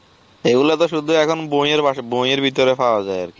এইগুলা তো শুধু এখন বইয়ের বাসা~ বইয়ের ভেতরে পাওয়া যায় আর